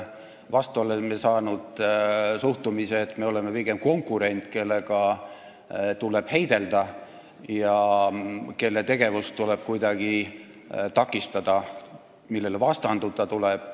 Vastu oleme saanud suhtumise, et me oleme pigem konkurent, kellega tuleb heidelda, kelle tegevust tuleb kuidagi takistada, kellele tuleb vastanduda.